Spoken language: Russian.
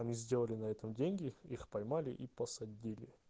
мы сделали на этом деньги их поймали и посадили